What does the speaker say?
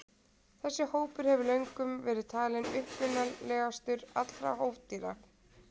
þessi hópur hefur löngum verið talinn upprunalegastur allra hófdýra